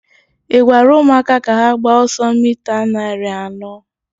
ị gwara ụmụaka ka ha gbaa ọsọ mita narị anọ?